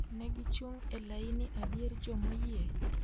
ne gichung' e laini e dier jomoyie